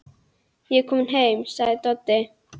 Ég er kominn heim, sagði Doddi.